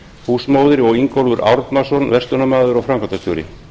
húsmóðir og ingólfur árnason verslunarmaður og framkvæmdastjóri